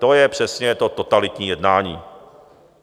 To je přesně to totalitní jednání.